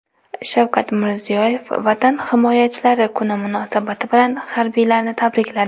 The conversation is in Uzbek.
Shavkat Mirziyoyev Vatan himoyachilari kuni munosabati bilan harbiylarni tabrikladi.